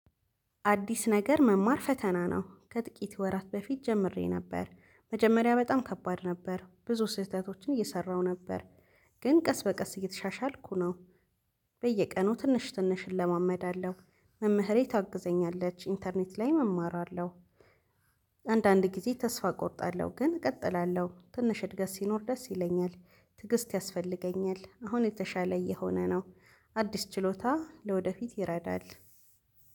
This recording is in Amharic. አዲስ ነገር መማር ፈተና ነው። ከጥቂት ወራት በፊት ጀምሬ ነበር። መጀመሪያ በጣም ከባድ ነበር። ብዙ ስህተቶችን እየሰራሁ ነበር። ግን ቀስ በቀስ እየተሻሻልኩ ነው። በየቀኑ ትንሽ ትንሽ እለማመዳለሁ። መምህሬ ታግዘኛለች። ኢንተርኔት ላይም እማራለሁ። አንዳንድ ጊዜ ተስፋ እቆርጣለሁ። ግን እቀጥላለሁ። ትንሽ እድገት ሲኖር ደስ ይለኛል። ትግስት ያስፈልገኛል። አሁን የተሻለ እየሆነ ነው። አዲስ ችሎታ ለወደፊት ይረዳል።